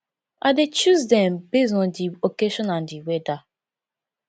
i dey choose dem base on di occasion and di weather